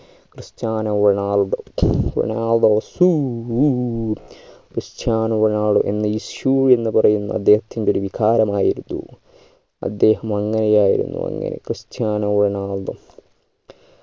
Cristiano Ronaldo Ronaldo സൂയ്യ് Cristiano Ronaldo എന്ന ഈ shoe എന്ന് പറയുന്ന അദ്ദേഹത്തിൻ്റെ ഒരു വികാരമായിരുന്നു അദ്ദേഹം അങ്ങനെ ആയിരുന്നു അങ്ങനെ ക്രിസ്ത്യാനോ റൊണാൾഡോ